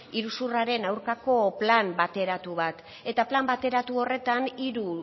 iruzurraren aurkako plan bateratu bat eta plan bateratu horretan hiru